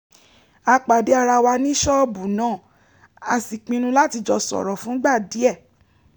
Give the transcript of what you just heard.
a pàdé ara wa ní ṣọ́ọ̀bù náà a sì pinnu láti jọ sọ̀rọ̀ fúngbà díẹ̀